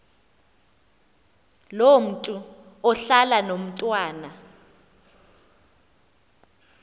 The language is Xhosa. ngomntu ohlala nomntwana